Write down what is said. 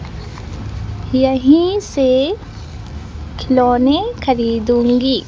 यहीं से खिलौने खरीदूंगी।